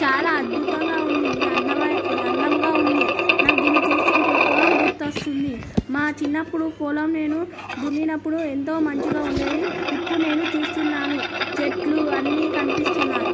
తాలా అద్బుతంగా ఉంది ఇది అందమైన ఇది అందంగా ఉంది నాకు దీన్ని చూస్తుంటే పొలం గుర్తు వస్తుంది మా చిన్నపుడు పొలం నేను దున్నినప్పుడు ఎంతో మంచిగా ఉండేది ఇప్పుడు నేను చూస్తూన్నాను చెట్లు అన్ని కనిపిస్తున్నై